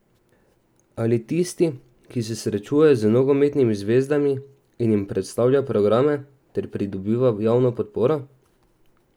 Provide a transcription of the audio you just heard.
Ali tisti, ki se srečuje z nogometnimi zvezami in jim predstavlja program ter pridobiva javno podporo?